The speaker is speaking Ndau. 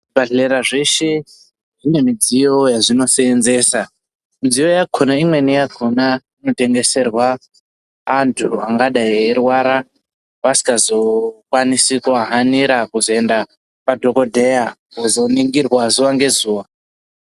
Zvibhadhlera zveshe zvine midziyo yazvinoseenzesa midziyo yakona imweni yakona inotengeserwa anthu angadai eirwara vasingazokwanisi kuhanira kuzoenda kwadhokodheya kozoningirwe zuwa ngezuwa.